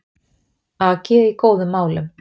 AG í góðum málum